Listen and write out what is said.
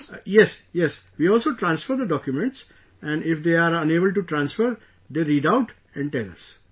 Yes...Yes... We also transfer documents and if they are unable to transfer, they read out and tell us